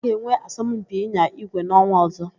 Ha ga-enwe asọmpi ịnya ígwé n'ọnwa ọ̀zọ́.